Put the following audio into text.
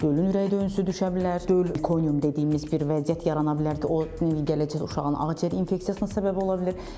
Dölün ürək döyüntüsü düşə bilər, döl konium dediyimiz bir vəziyyət yarana bilər ki, o gələcəkdə uşağın ağciyər infeksiyasına səbəb ola bilir.